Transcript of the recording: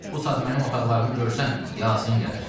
Bu saat mənim otaqlarımı görsən yazığın gələr.